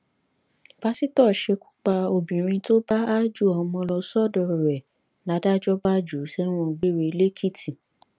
pásítọ ṣekú pa obìnrin tó bá aájò ọmọ lọ sọdọ rẹ ládájọ bá jù ú sẹwọn gbére lẹlẹkìtì